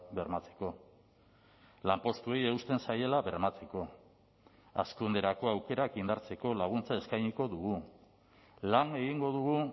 bermatzeko lanpostuei eusten zaiela bermatzeko hazkunderako aukerak indartzeko laguntza eskainiko dugu lan egingo dugu